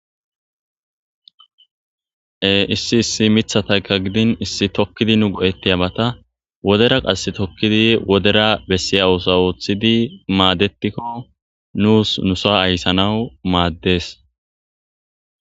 e issi issi mithatayka gidin issi tokkidi nu go7ettiyabata wodera qass tokkidi wodera bessiya oosa ooththidi maadetikko nuus nusa ayssanawu maaddes